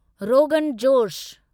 rogan josh